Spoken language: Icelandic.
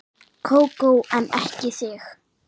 Kókó en ekki þig.